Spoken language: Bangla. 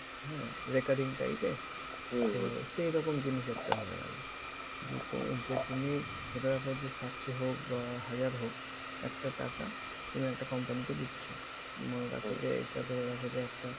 হ্যাঁ ? recurring type এর সেইরকম জিনিস একটা হয়ে গেলো। যে তুমি পর যে সাতশ হোক বা হাজার হোক একটা টাকা তুমি একটা company কে দিচ্ছ মনে রাখো যে এইটা ধরে রাখো যে একটা